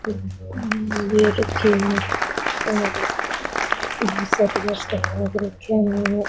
ले रखे है --